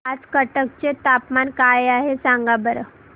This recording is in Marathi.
आज कटक चे तापमान काय आहे सांगा बरं